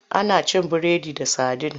Ana cin biredi da sadin.